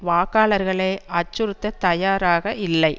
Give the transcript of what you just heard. வாக்காளர்களை அச்சுறுத்தத் தயாராக இல்லை